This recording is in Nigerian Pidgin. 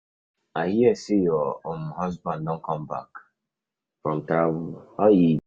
I hear say your um husband don come um back from travel, how e go?